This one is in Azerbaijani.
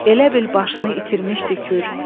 Elə bil başını itirmişdi kür.